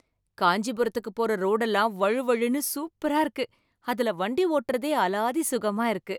காஞ்சிபுரத்துக்கு போற ரோடெல்லாம் வழுவழுனு சூப்பரா இருக்கு, அதுல வண்டி ஒட்டுறதே அலாதி சுகமா இருக்கு.